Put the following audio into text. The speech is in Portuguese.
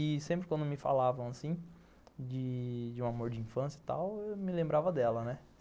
E sempre quando me falavam assim, de...de um amor de infância e tal, eu me lembrava dela, né?